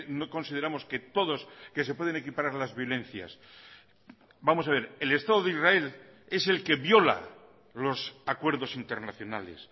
no consideramos que todos que se pueden equiparar las violencias vamos a ver el estado de israel es el que viola los acuerdos internacionales